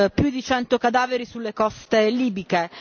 più di cento cadaveri sulle coste libiche.